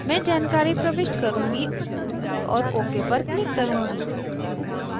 मैं जानकारी प्रविष्ट करुँगी और ok पर click करुँगी